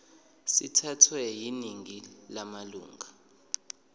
sithathwe yiningi lamalunga